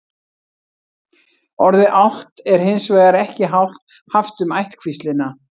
orðið álft er hins vegar ekki haft um ættkvíslina